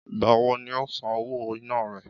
Ìgbà wo ni o óò san owó iná re?